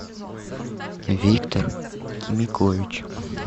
виктор кимикович